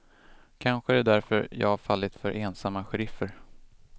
Kanske är det därför jag fallit för ensamma sheriffer.